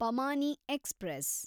ಪಮಾನಿ express